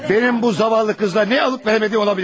Mənim bu zavallı qızla nə alıb-verəmədiqi ola bilər?